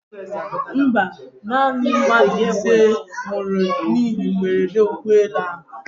Mba, naanị mmadụ ise nwụrụ n'ihe mberede ụgbọelu ahụ.